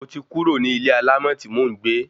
Mo ti kúrò ní ilé alámọ̀ tí mò ń gbé